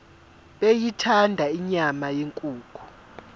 beyithanda inyama yenkukhu